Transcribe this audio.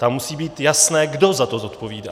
Tam musí být jasné, kdo za to zodpovídá.